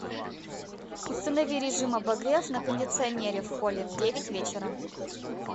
установи режим обогрев на кондиционере в холле в девять вечера